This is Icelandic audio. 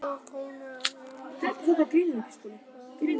Nú kunnu allir faðirvorið og kennarinn sat öruggur fyrir miðju.